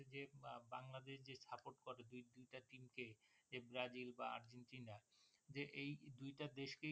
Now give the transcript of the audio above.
যে ব্রাজিল বা আর্জেন্টিনা যে এই দুইটা দেশ কেই